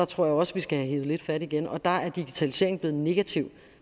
tror også vi skal have hevet lidt fat igen og der er digitalisering blevet en negativ